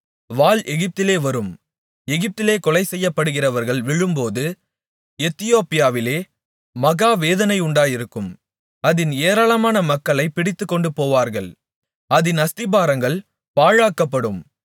வாள் எகிப்திலே வரும் எகிப்திலே கொலை செய்யப்படுகிறவர்கள் விழும்போது எத்தியோப்பியாவிலே மகாவேதனை உண்டாயிருக்கும் அதின் ஏராளமான மக்களைப் பிடித்துக்கொண்டுபோவார்கள் அதின் அஸ்திபாரங்கள் பாழாக்கப்படும்